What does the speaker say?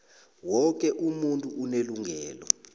woke umuntu unelungelo